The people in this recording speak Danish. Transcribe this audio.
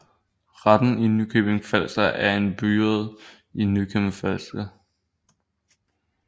Retten i Nykøbing Falster er en byret i Nykøbing Falster